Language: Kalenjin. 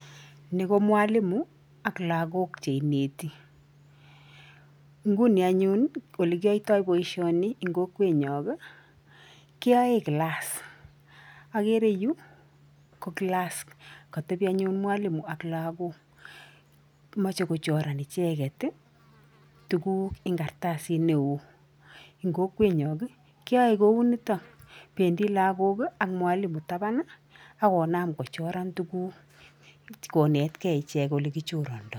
Ni ko mwalimu ak lagok cheineti. Nguni anyun, ole kiyoitoi boisioni eng kokwenyon, keyoe class. Ogere yu, ko class kotebi anyun mwalimu ak lagok moche kochoran icheget tuguk en kartasit neo. Eng' kokwenyon, keyoe kou nito. Bendi lagok ak mwalimu taban, akonam kochoran tuguk konetgei ichek ole kichorondoi.